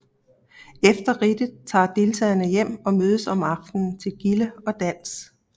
Efter ridtet tager deltagerne hjem og mødes om aftenen til gilde og dans